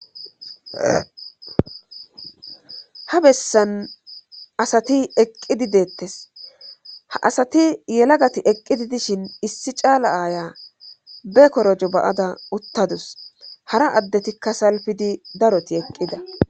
ha bessan asati eqqidi deettes ha asati yelagati eqqidi dishin issi caala aaya bekorojo ba7ada uttadus hara addetikka salfidi daroti eqqida